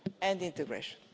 and integration